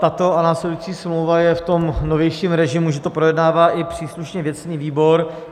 Tato a následující smlouva je v tom novějším režimu, že to projednává i příslušně věcný výbor.